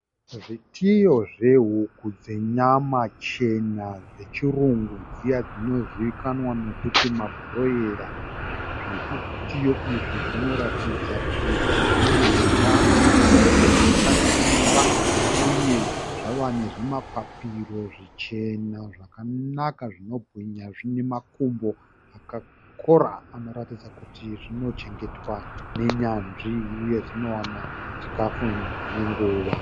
Zvitiyo zvehuku dzenyama chena dzechirungu dziya dzinozivikanwa nekuti mabhuroira. Zvitiyo zvinoratidza kuti zvinehutano sezvo zvakasimba uye zvava nezvimapapiro zvichena zvakanaka zvinobwinya zvinemakumbo akakora zvinoratidza kuti zvinochengetwa nenyanzvi uye zvinowana chikafu nenguva.